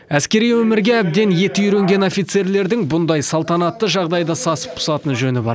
әскери өмірге әбден еті үйренген офицерлердің бұндай салтанатты жағдайда сасып пысатын жөні бар